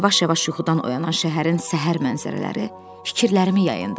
Yavaş-yavaş yuxudan oyanan şəhərin səhər mənzərələri fikirlərimi yayındırırdı.